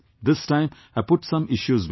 This time I put some issues before them